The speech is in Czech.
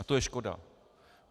A to je škoda.